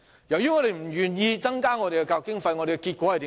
由於政府不願意增加教育經費，結果怎樣？